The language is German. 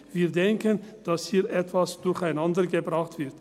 Wir denken, dass hier etwas durcheinandergebracht wird.